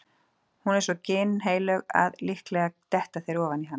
Hún er svo ginnheilög að líklega detta þeir ofan í hana.